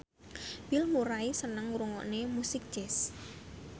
Bill Murray seneng ngrungokne musik jazz